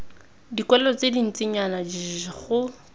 dikwalo tse dintsinyana jljl go